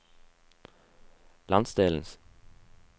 landsdelens